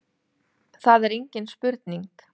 Það er engin spurning